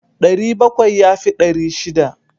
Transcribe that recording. Ɗari bakwai ya fi ɗari shida.